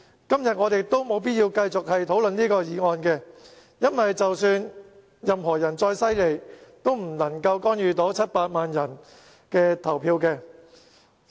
今天，我們也沒有必要就這項議案辯論，因為更厲害的人也無法干預700萬人的投票。